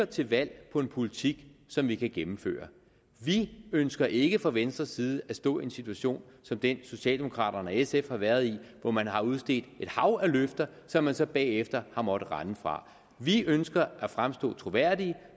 til valg på en politik som vi kan gennemføre vi ønsker ikke fra venstres side at stå i en situation som den socialdemokraterne og sf har været i hvor man har udstedt et hav af løfter som man så bagefter har måttet rende fra vi ønsker at fremstå troværdige